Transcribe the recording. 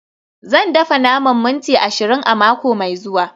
Zan dafa naman minti ashirin a mako mai zuwa